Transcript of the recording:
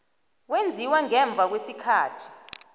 wenziwa ngemva kwesikhathi